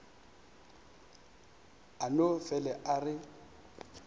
a no fele a re